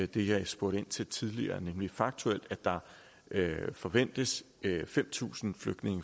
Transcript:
det jeg spurgte ind til tidligere nemlig faktuelt forventes fem tusind